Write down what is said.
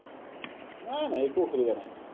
নাই, নাই। একো অসুবিধা নাই।